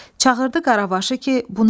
Çağırdı Qaravaşı ki, bu nə səsdir?